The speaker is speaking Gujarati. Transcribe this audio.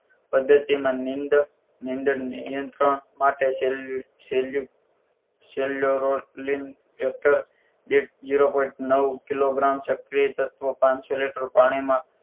પદ્ધતિમાં નીંદ નીંદર નિયંત્રણ માટે સોલો સોલો સોલોરોડ લીક એક્ટર દીઠ જીરો point નવ કિલોગ્રામ સક્રિય તત્વો પાનસો લિટર પાણીમાં